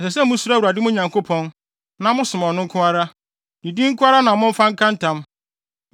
Ɛsɛ sɛ musuro Awurade, mo Nyankopɔn, na mosom ɔno nko ara. Ne din nko ara na momfa nka ntam.